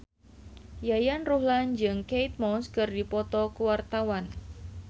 Yayan Ruhlan jeung Kate Moss keur dipoto ku wartawan